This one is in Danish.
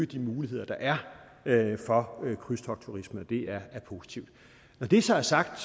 de muligheder der er for krydstogtturisme det er positivt når det så er sagt